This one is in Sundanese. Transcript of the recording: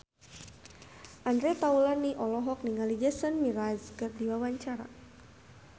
Andre Taulany olohok ningali Jason Mraz keur diwawancara